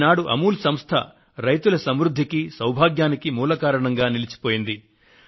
ఈనాడు అమూల్ సంస్థ రైతుల సమృద్ధికి సౌభాగ్యానికి మూల కారణంగా నిలిచిపోయింది